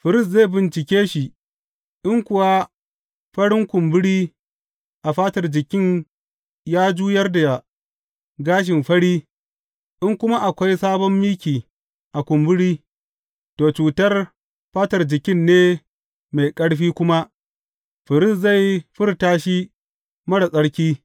Firist zai bincike shi, in kuwa farin kumburi a fatar jikin ya juyar da gashin fari in kuma akwai sabon miki a kumburi, to, cutar fatar jikin ne mai ƙarfi kuma firist zai furta shi marar tsarki.